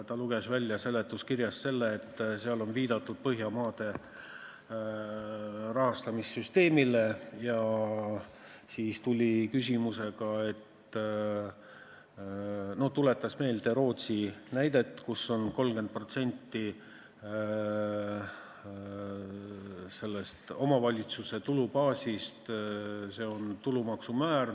Ta luges seletuskirjast, et seal on viidatud Põhjamaade rahastamissüsteemile, ja siis tuletas meelde Rootsi näidet, kus omavalitsuse tulubaasis on 30% see tulumaksu määr.